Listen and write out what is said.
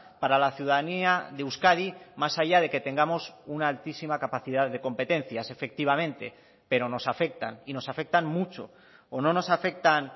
para la ciudadanía de euskadi más allá de que tengamos una altísima capacidad de competencias efectivamente pero nos afectan y nos afectan mucho o no nos afectan